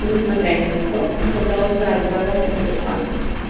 несмотря ни на что продолжает сдавать артефакты